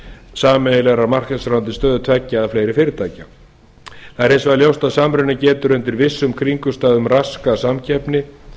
sameiginlegrar markaðsráðandi stöðu tveggja eða fleiri fyrirtækja það er hins vegar ljóst að samruni getur undir vissum kringumstæðum raskað samkeppni